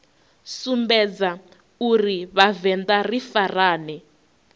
sumbedza uri vhavenḓa ri farane